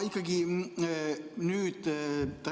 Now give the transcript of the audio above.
Hea Siret!